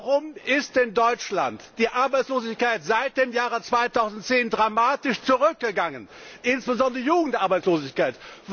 Warum ist in Deutschland die Arbeitslosigkeit seit dem Jahre 2010 dramatisch zurückgegangen, insbesondere die Jugendarbeitslosigkeit?